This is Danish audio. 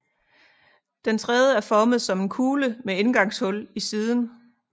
Dens rede er formet som en kugle med indgangshul i siden